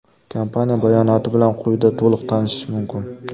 Kompaniya bayonoti bilan quyida to‘liq tanishish mumkin.